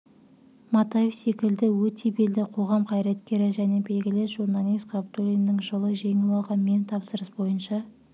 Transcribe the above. матаев секілді өте белді қоғам қайраткері және белгілі журналист ғабдуллиннің жылы жеңіп алған мемтапсырыс бойынша